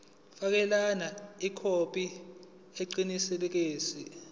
fakela ikhophi eqinisekisiwe